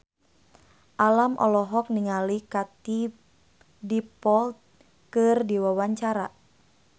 Alam olohok ningali Katie Dippold keur diwawancara